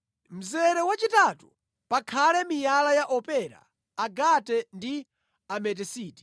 mzere wachitatu pakhale miyala ya opera, agate ndi ametisiti.